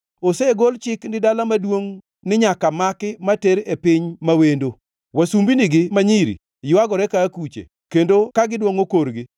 Osegol Chik ni dala maduongʼ nyaka maki ma ter e piny ma wendo. Wasumbinigi ma nyiri ywagore ka akuche kendo ka gidwongʼo korgi.